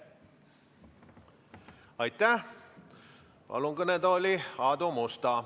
Ma palun kõnetooli Aadu Musta.